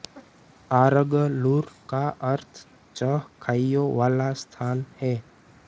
आरगलूर का अर्थ छह खाइयों वाला स्थान है